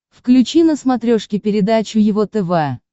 включи на смотрешке передачу его тв